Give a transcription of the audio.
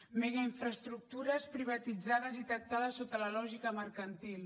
megainfraestructures privatitzades i tractades sota la lògica mercantil